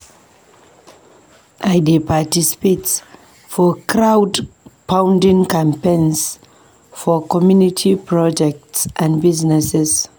I dey participate for crowdfunding campaigns for community projects and businesses.